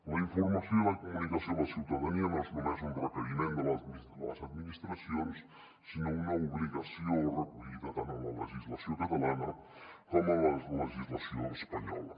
la informació i la comunicació a la ciutadania no són només un requeriment de les administracions sinó una obligació recollida tant en la legislació catalana com en la legislació espanyola